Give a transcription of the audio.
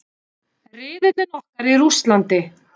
Riðillinn okkar í Rússlandi.